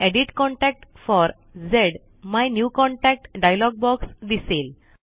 edit contact for झ्मायन्यूकॉन्टॅक्ट dialog box दिसेल